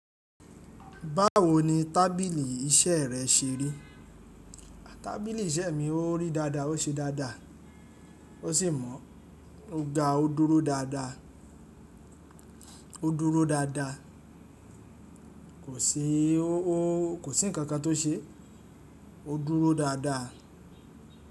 Báwo ni tábìlì iṣẹ́ rẹ ṣe rí? Tábìlì iṣẹ́ mi ó rí dáadáa, ó ṣe dáadáa, ó sì mọ́. O ga, ó dúró dáadáa, ó dúró dáadáa. Kò sí o, kò sí ǹkan kan tó ṣe, ó dúró dáadáa.